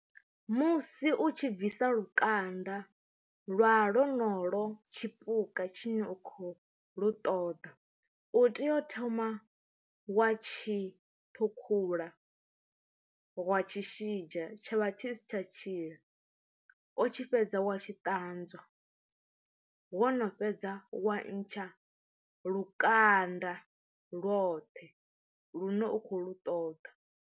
Musi u tshi bvisa lukanda lwa lonolo tshipuka tshine u khou lu ṱoḓa, u tea u thoma wa tshi thukhula wa tshi shidzha tsha vha tshi si tsha tshila, o tshi fhedza wa tshi ṱanzwa wo no fhedza wa ntsha lukanda lwoṱhe lune u khou lu ṱoḓa.